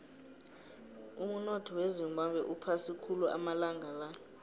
umunotho wezimbabwe uphasi khulu amalanga la